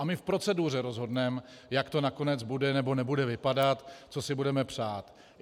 A my v proceduře rozhodneme, jak to nakonec bude nebo nebude vypadat, co si budeme přát.